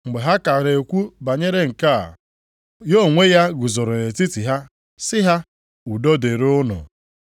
Mgbe ha ka na-ekwu banyere nke a, ya onwe ya guzooro nʼetiti ha sị ha, “Udo dịrị unu.”